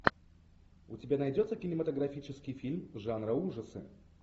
у тебя найдется кинематографический фильм жанра ужасы